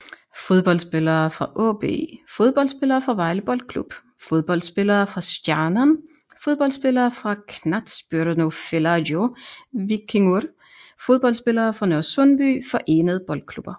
Fodboldspillere fra AaB Fodboldspillere fra Vejle Boldklub Fodboldspillere fra Stjarnan Fodboldspillere fra Knattspyrnufélagið Víkingur Fodboldspillere fra Nørresundby Forenede Boldklubber